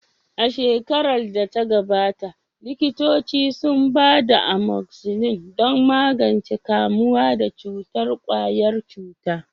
A shekarar da ta gabata, likitoci sun ba da amoxicillin don magance kamuwa da cutar ƙwayar cuta.